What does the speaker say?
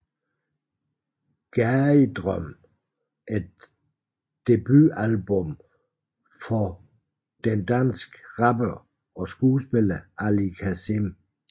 Gadedrøm er debutalbummet fra den danske rapper og skuespiller Ali Kazim